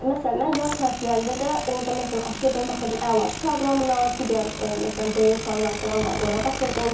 Məsələn, mən yay tətilərində də orda məsələn açırdım, baxırdım əlaçı proqramına, digər məsələn Brain proqramı filan var idi, ora baxırdım.